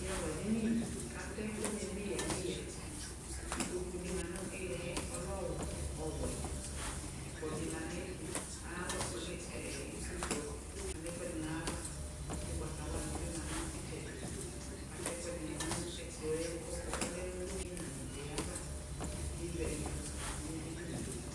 ɛzawla dini k'atɛ ɛkò ni n'eya n'eya ikpoku di ma no iliɛ ɔlɛ ɔwɛ ɛkplɔ di ma n'ayi ɛtu alɔ ɔlɛ itsu kplɔ k'alɛ ɛkò ɛdi n'ayi ava ugbata wla di bi ma no itsɛdi k'atɛ ɛkò ɛdini no ɛkplɔɛ k'ɔlɛ no ina netse ava k'ewia ivu no edinie.